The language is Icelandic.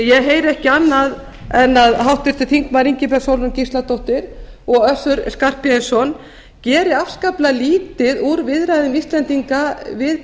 ég heyri ekki annað en að háttvirtur þingmaður ingibjörg sólrún gísladóttir og össur skarphéðinsson geri afskaplega lítið úr viðræðum íslendinga við